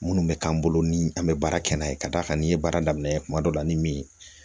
Minnu bɛ k'an bolo ni an bɛ baara kɛ n'a ye ka d'a kan n' ye baara daminɛ kuma dɔ la ni min ye